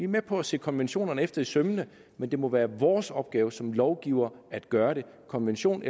med på at se konventionerne efter i sømmene men det må være vores opgave som lovgivere at gøre det konvention